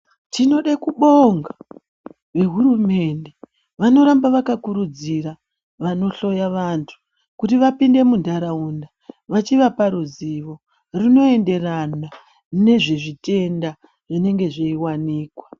Tinode kubonga ve hurumende vanoramba vaka kurudzira vano hloya vantu vapinde mu ntaraunda vachivapa ruzivo rwuno enderana nezvi zvitenda zvinenge zveiwanikwa.